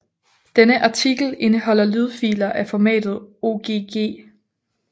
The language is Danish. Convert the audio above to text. Denne artikel indeholder lydfiler af formatet ogg